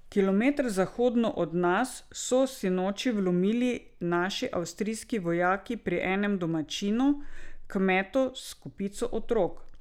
Kilometer zahodno od nas so sinoči vlomili naši avstrijski vojaki pri enem domačinu, kmetu s kopico otrok.